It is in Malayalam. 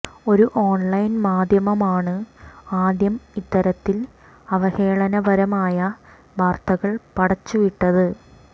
ഒരു ഓൺലൈൻ മാധ്യമമാണ് ആദ്യം ഇത്തരത്തിൽ അവഹേളനപരമായ വാർത്തകൾ പടച്ചു വിട്ടത്